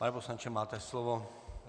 Pane poslanče, máte slovo.